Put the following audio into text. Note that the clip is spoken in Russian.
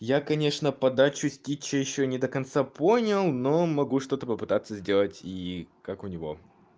я конечно подачу стича ещё не до конца понял но могу что-то попытаться сделать и как у него